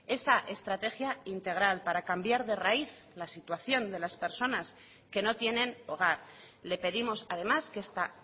esa estrategia integral para cambiar de raíz la situación de las personas que no tienen hogar le pedimos además que esta